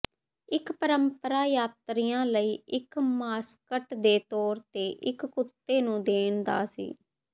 ਇੱਕ ਪਰੰਪਰਾ ਯਾਤਰੀਆ ਲਈ ਇੱਕ ਮਾਸਕਟ ਦੇ ਤੌਰ ਤੇ ਇੱਕ ਕੁੱਤੇ ਨੂੰ ਦੇਣ ਦਾ ਸੀ